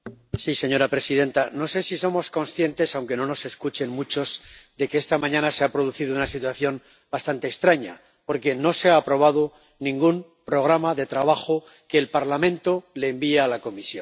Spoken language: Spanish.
Señora presidenta, no sé si somos conscientes —aunque no nos escuchen muchos— de que esta mañana se ha producido una situación bastante extraña, porque no se ha aprobado ningún programa de trabajo que el Parlamento le envía a la Comisión.